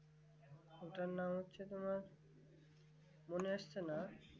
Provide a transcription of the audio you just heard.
ওটার নাম হচ্ছে তোমার মনে আসছে না